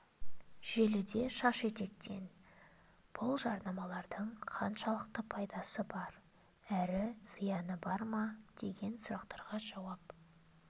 желіде шаш етектен бұл жарнамалардың қаншалықты пайдаы бар әрі зияны бар ма деген сұрақтарға жауап